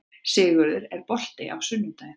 Sigurður, er bolti á sunnudaginn?